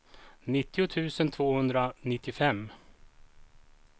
nittio tusen tvåhundranittiofem